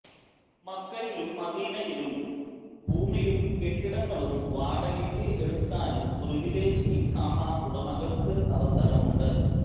മക്കയിലും മദീനയിലും ഭൂമിയും കെട്ടിടങ്ങളും വാടകയ്ക്ക് എടുക്കാനും പ്രിവിലേജ് ഇഖാമ ഉടമകള്ക്ക് അവസരമുണ്ട്